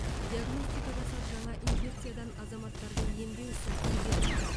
диагностика жасап жаңа инфекциядан азаматтарды емдеу ісін игердік